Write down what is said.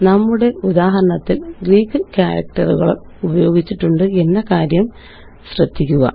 നമ്മുടെ ഉദാഹരണത്തില് ഗ്രീക്ക് കാരക്റ്ററുകള് ഉപയോഗിച്ചിട്ടുണ്ട് എന്ന കാര്യം ശ്രദ്ധിക്കുക